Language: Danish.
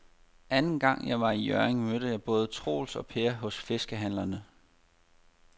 Anden gang jeg var i Hjørring, mødte jeg både Troels og Per hos fiskehandlerne.